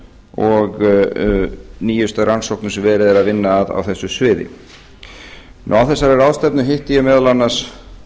og nýjustu rannsóknum sem verið er að vinna að á þessu sviði á þessari ráðstefnu hitti ég meðal annars